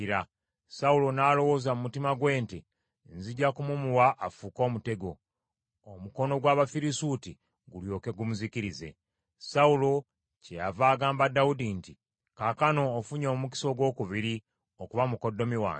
Sawulo n’alowooza mu mutima gwe nti, “Nzija kumumuwa afuuke omutego, omukono gw’Abafirisuuti gulyoke gumuzikirize.” Sawulo kyeyava agamba Dawudi nti, “Kaakano ofunye omukisa ogwokubiri okuba mukoddomi wange.”